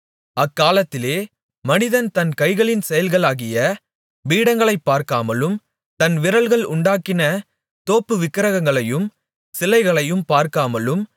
அக்காலத்திலே மனிதன் தன் கைகளின் செயல்களாகிய பீடங்களை பார்க்காமலும் தன் விரல்கள் உண்டாக்கின தோப்புவிக்கிரகங்களையும் சிலைகளையும் பார்க்காமலும்